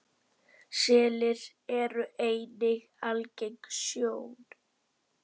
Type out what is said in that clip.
Selir eru einnig algeng sjón.